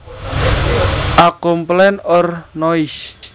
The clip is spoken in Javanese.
A complaint or noise